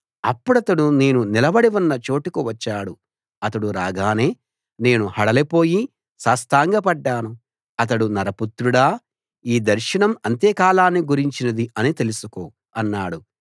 అప్పుడతడు నేను నిలబడి ఉన్న చోటుకు వచ్చాడు అతడు రాగానే నేను హడలిపోయి సాష్టాంగపడ్డాను అతడు నరపుత్రుడా ఈ దర్శనం అంత్యకాలాన్ని గురించినది అని తెలుసుకో అన్నాడు